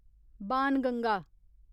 Banganga